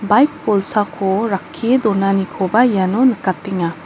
baik bolsako rakkie donanikoba iano nikatenga.